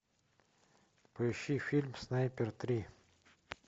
поищи фильм снайпер три